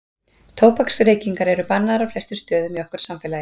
tóbaksreykingar eru bannaðar á flestum stöðum í okkar samfélagi